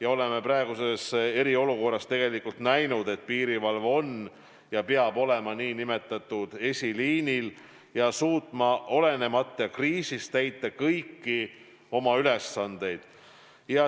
Me oleme praeguses eriolukorras näinud, et piirivalve on ja peab olema nn eesliinil ja suutma ka kriisiajal täita kõiki oma ülesandeid.